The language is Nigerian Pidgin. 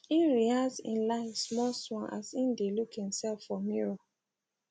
im rehearse im lines smallsmall as im dae look himself for mirror